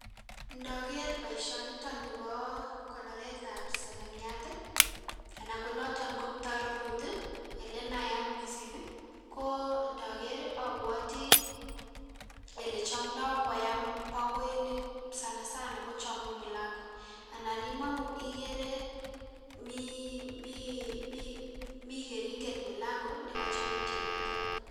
Ndoker boisioniton nibo konoretab sekemiat ii anan konoton ko kiptorurut ii ilenayat missing' ko ndoker ii obwotii elechomdo koyam bokoinik sana sana kochomi mulango anan imong'u kochon ikere mi mii keringet mulango nekochepe tionyiton.